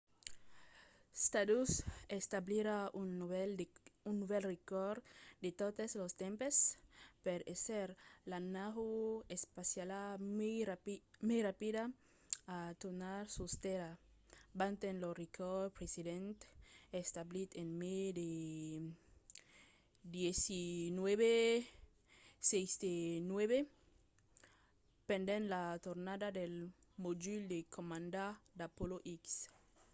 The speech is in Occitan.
stardust establirà un novèl recòrd de totes los tempses per èsser la nau espaciala mai rapida a tornar sus tèrra batent lo recòrd precedent establit en mai de 1969 pendent la tornada del modul de comanda d'apollo x